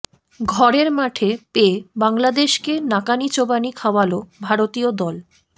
ঘরের মাঠে পেয়ে বাংলাদেশকে নাকানি চোবানি খাওয়াল ভারতীয় দল